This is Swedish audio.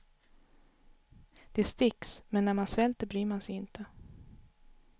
Det sticks, men när man svälter bryr man sig inte.